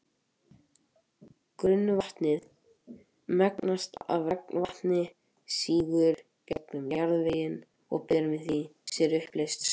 Grunnvatnið mengast ef regnvatn sígur gegnum jarðveginn og ber með sér uppleyst sölt.